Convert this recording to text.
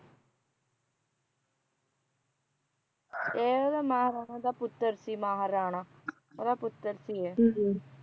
ਇਹ ਉਹਦਾ ਮਹਾਰਾਣਾ ਦਾ ਪੁੱਤਰ ਸੀ ਮਹਾਰਾਣਾ ਦਾ ਪੁੱਤਰ ਸੀ ਇਹ